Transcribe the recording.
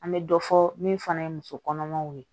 An bɛ dɔ fɔ min fana ye muso kɔnɔmaw ye